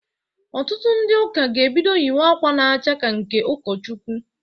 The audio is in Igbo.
Ọtụtụ ndị ụka ga-ebido yiwe akwa na-acha ka nke ụkọchukwu.